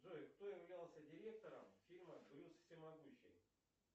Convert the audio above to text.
джой кто являлся директором фильма брюс всемогущий